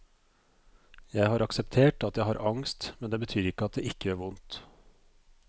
Jeg har akseptert at jeg har angst, men det betyr ikke at det ikke gjør vondt.